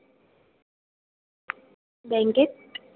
बँकेत.